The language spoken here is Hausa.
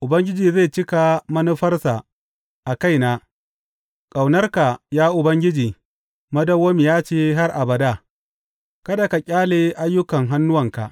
Ubangiji zai cika manufarsa a kaina; ƙaunarka, ya Ubangiji, madawwamiya ce har abada, kada ka ƙyale ayyukan hannuwanka.